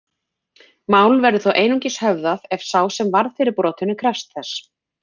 Mál verður þó einungis höfðað ef sá sem varð fyrir brotinu krefst þess.